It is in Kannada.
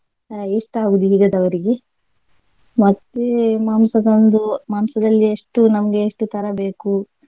ಇಷ್ಟ ಆಗುದು ಈಗದವರಿಗೆ. ಮತ್ತೆ ಮಾಂಸ ತಂದು ಮಾಂಸದಲ್ಲಿ ಎಷ್ಟು ನಮ್ಗೆ ಎಷ್ಟು ತರ ಬೇಕು.